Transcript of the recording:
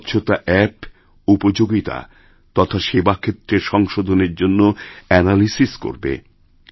স্বচ্ছতা অ্যাপ উপযোগিতা তথা সেবাক্ষেত্রের সংশোধনের জন্য অ্যানালিসিস্ করবে